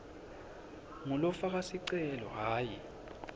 ngulofaka sicelo hhayi